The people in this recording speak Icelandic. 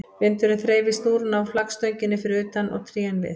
Vindurinn þreif í snúruna á flaggstönginni fyrir utan og trén við